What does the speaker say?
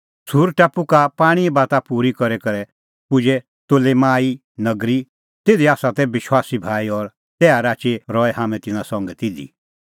सूर टापू का पाणींए बात पूरी करी करै पुजै तोलेमाई नगरी तिधी तै विश्वासी भाई और तैहा राची रहै हाम्हैं तिन्नां संघै तिधी